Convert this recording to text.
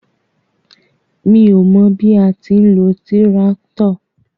Mi ó mọ bí a ti ń lo tíráktọ̀.